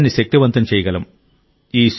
దేశాన్ని శక్తివంతం చేయగలం